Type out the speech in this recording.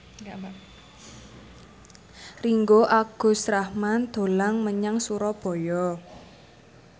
Ringgo Agus Rahman dolan menyang Surabaya